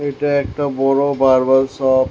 এটা একটা বড়ো বারবার শপ ।